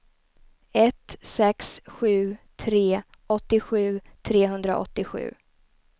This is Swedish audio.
ett sex sju tre åttiosju trehundraåttiosju